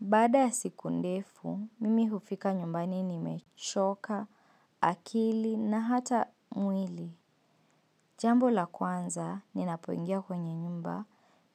Baada ya siku ndefu, mimi hufika nyumbani nimechoka, akili na hata mwili. Jambo la kwanza, ninapoingia kwenye nyumba,